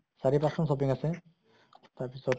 চাৰি পাঁছ টা মান shopping আছে। তাৰ পিছত